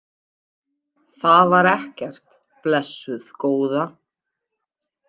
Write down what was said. Það var ekkert, blessuð góða.